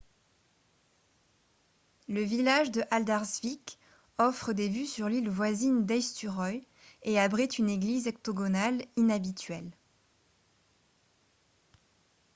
le village de haldarsvík offre des vues sur l’île voisine d’eysturoy et abrite une église octogonale inhabituelle